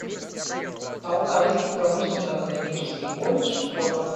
алтайский промышленно экономический колледж фото